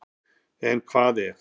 En hvað ef?